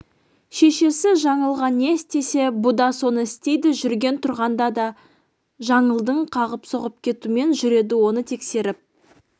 шешесі жаңылға не істесе бұ да соны істейді жүрген-тұрғанда да жаңылды қағып-соғып кетумен жүреді оны тексеріп